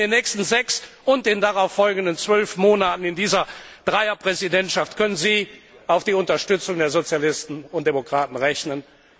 In den nächsten sechs und den darauf folgenden zwölf Monaten während dieser Dreier Präsidentschaft können Sie also mit der Unterstützung der Sozialisten und Demokraten rechnen.